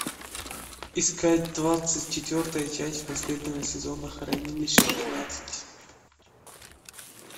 искать двадцать четвертая часть последнего сезона хранилище тринадцать